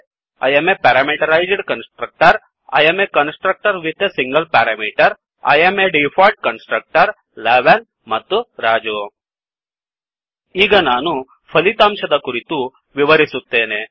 I am a parameterized constructor I am a constructor with a single parameter I am default constructor 11 ಮತ್ತು ರಾಜು ಈಗ ನಾನು ಫಲಿತಾಂಶದ ಕುರಿತು ವಿವರಿಸುತ್ತೇನೆ